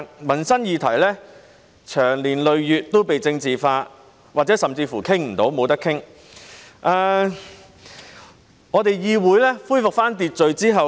民生議題長年累月都被政治化，這甚或導致一些議題未能獲得討論。